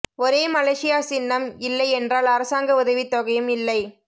ஒரே மலேசியா சின்னம் இல்லை என்றால் அரசாங்க உதவித் தொகையும் இல்லை